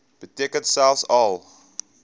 beteken selfs al